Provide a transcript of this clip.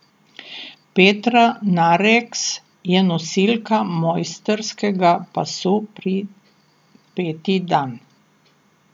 Petra Nareks je nosilka mojstrskega pasu peti dan.